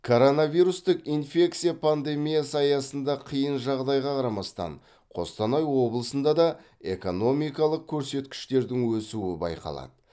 коронавирустық инфекция пандемиясы аясында қиын жағдайға қарамастан қостанай облысында да экономикалық көрсеткіштердің өсуі байқалады